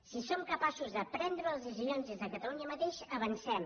si som capaços de prendre les decisions des de catalunya mateix avancem